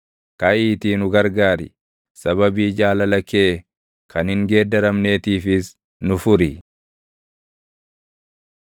Kaʼiitii nu gargaar; sababii jaalala kee kan hin geeddaramneetiifis nu furi.